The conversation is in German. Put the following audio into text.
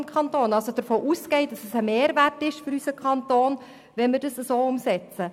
Er geht davon aus, dass es sich bei entsprechender Umsetzung um einen Mehrwert handelt.